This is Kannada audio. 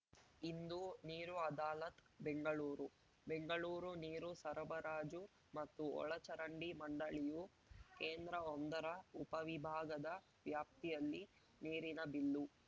ಇಂದು ನೀರು ಅದಾಲತ್‌ ಬೆಂಗಳೂರು ಬೆಂಗಳೂರು ನೀರು ಸರಬರಾಜು ಮತ್ತು ಒಳಚರಂಡಿ ಮಂಡಳಿಯು ಕೇಂದ್ರಒಂದರ ಉಪವಿಭಾಗದ ವ್ಯಾಪ್ತಿಯಲ್ಲಿ ನೀರಿನ ಬಿಲ್ಲು